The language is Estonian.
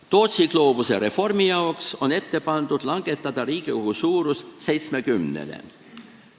Tootsi gloobuse reformi jaoks on ette pandud langetada Riigikogu suurus 70-le.